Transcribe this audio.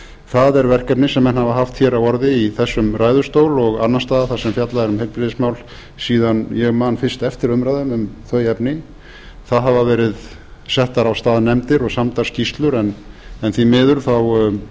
það er verkefni sem menn hafa haft á orði í þessum ræðustól og annars staðar þar sem fjallað er um heilbrigðismál síðan ég man fyrst eftir umræðu um þau efni þá hafa verið settar á stað nefndir og samdar skýrslur en því miður